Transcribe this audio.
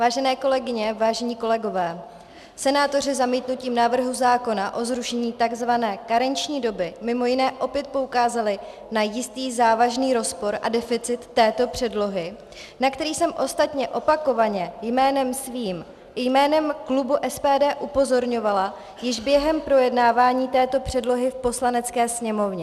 Vážené kolegyně, vážení kolegové, senátoři zamítnutím návrhu zákona o zrušení tzv. karenční doby mimo jiné opět poukázali na jistý závažný rozpor a deficit této předlohy, na který jsem ostatně opakovaně jménem svým i jménem klubu SPD upozorňovala již během projednávání této předlohy v Poslanecké sněmovně.